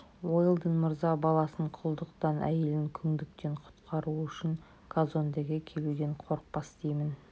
уэлдон мырза баласын құлдықтан әйелін күңдіктен құтқару үшін казондеге келуден қорықпас деймін